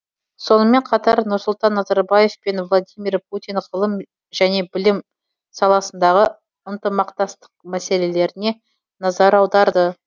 сонымен қатар нұрсұлтан назарбаев пен владимир путин ғылым және білім саласындағы ынтымақтастық мәселелеріне назар аударды